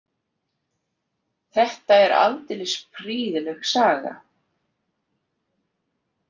Þetta er aldeilis prýðileg saga.